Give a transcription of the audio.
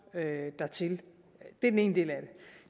dertil det er den ene del af